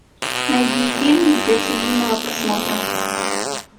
найди фильм для семейного просмотра